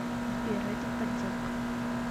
сбер это подделка